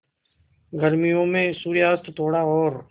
गर्मियों में सूर्यास्त थोड़ा और